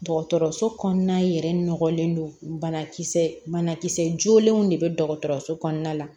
Dɔgɔtɔrɔso kɔnɔna yɛrɛ nɔgɔlen don banakisɛ banakisɛ jolenw de be dɔgɔtɔrɔso kɔnɔna la